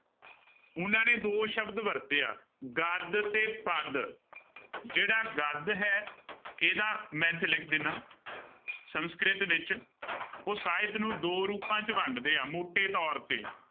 ਉਹਨਾਂ ਨੇ ਦੋ ਸ਼ਬਦ ਵਰਤੇ ਆ ਗਦ ਤੇ ਪਦ, ਜਿਹੜਾ ਗਦ ਹੈ, ਇਹਦਾ ਮੈਂ ਇੱਥੇ ਲਿਖ ਦਿਨਾ, ਸੰਸਕ੍ਰਿਤ ਵਿੱਚ ਉਹ ਸਾਹਿਤ ਨੂੰ ਦੋ ਰੂਪਾਂ ਚ ਵੰਡਦੇ ਆ ਮੋਟੇ ਤੌਰ ਤੇ।